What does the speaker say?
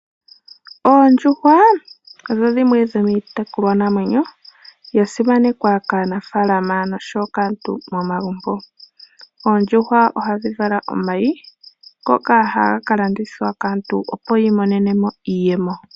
Oondjuhwa odho dhimwe dhomii tekulwa namwenyo ya simanekwa kaanafaalama noshowo kaantu momagumbo. Oondjuhwa ohadhi vala omayi ngoka hagaka landithwa kaantu opo yiimonenemo iiyemo.